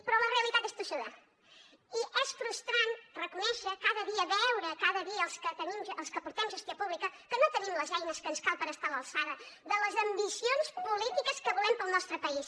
però la realitat és tossuda i és frustrant reconèixer cada dia veure cada dia els que portem gestió pública que no tenim les eines que ens calen per estar a l’alçada de les ambicions polítiques que volem per al nostre país